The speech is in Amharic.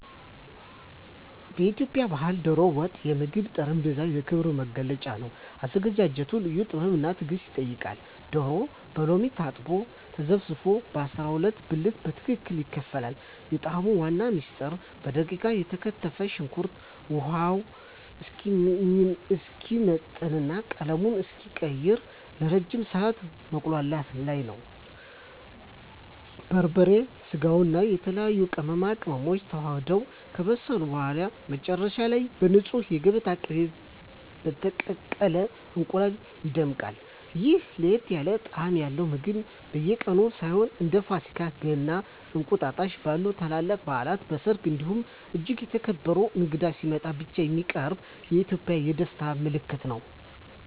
በኢትዮጵያ ባሕል "ዶሮ ወጥ" የምግብ ጠረጴዛ የክብር መገለጫ ነው። አዘገጃጀቱ ልዩ ጥበብና ትዕግስት ይጠይቃል፤ ዶሮው በሎሚ ታጥቦና ተዘፍዝፎ በ12 ብልት በትክክል ይከፋፈላል። የጣዕሙ ዋና ምስጢር በደቃቁ የተከተፈ ሽንኩርት ውሃው እስኪመጥና ቀለሙን እስኪቀይር ለረጅም ሰዓት መቁላላቱ ላይ ነው። በርበሬ፣ ስጋውና የተለያዩ ቅመማ ቅመሞች ተዋህደው ከበሰሉ በኋላ፣ መጨረሻ ላይ በንፁህ የገበታ ቅቤና በተቀቀለ እንቁላል ይደምቃል። ይህ ለየት ያለ ጣዕም ያለው ምግብ በየቀኑ ሳይሆን፣ እንደ ፋሲካ፣ ገና እና እንቁጣጣሽ ባሉ ታላላቅ በዓላት፣ በሰርግ እንዲሁም እጅግ የተከበረ እንግዳ ሲመጣ ብቻ የሚቀርብ የኢትዮጵያውያን የደስታ ምልክት ነው።